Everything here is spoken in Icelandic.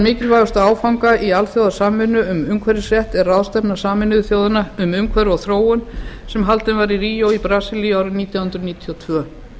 mikilvægustu áfanga í alþjóðasamvinnu um umhverfisrétt er ráðstefna sameinuðu þjóðanna um umhverfi og þróun sem haldin var í ríó í brasilíu árið nítján hundruð níutíu og tvö